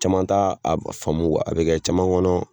Caman t'a a faamu a bi kɛ caman kɔnɔ